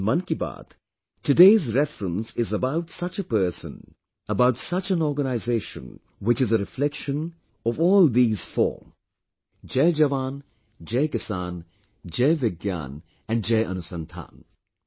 In 'Mann Ki Baat', today's reference is about such a person, about such an organization, which is a reflection of all these four, Jai Jawan, Jai Kisan, Jai Vigyan and Jai Anusandhan